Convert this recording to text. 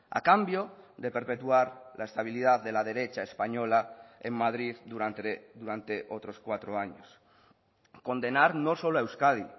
a cambio de perpetuar la estabilidad de la derecha española en madrid durante otros cuatro años condenar no solo a euskadi